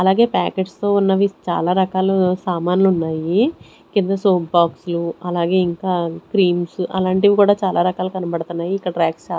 అలాగే ప్యాకెట్స్ తో ఉన్నవి చాలా రకాల సామాన్లు ఉన్నాయి కింద సోప్ బాక్స్లు అలాగే ఇంకా క్రీమ్స్ అలాంటివి కూడా చాలా రకాలు కనబడుతున్నాయి ఇక్కడ ర్యక్స్ చ--